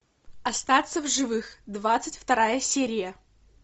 остаться в живых двадцать вторая серия